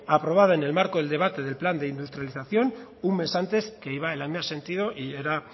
aprobada en el marco del debate del plan de industrialización un mes antes que iba en el mismo sentido y era